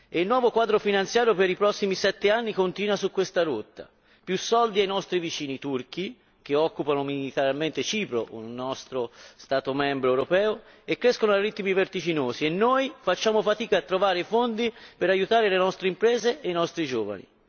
Il nuovo quadro finanziario per i prossimi sette anni continua su questa rotta più soldi ai nostri vicini turchi che occupano militarmente Cipro Stato membro dell'Unione e il loro ammontare cresce a ritmi vertiginosi, mentre noi facciamo fatica a trovare i fondi per aiutare le nostre imprese e i nostri giovani.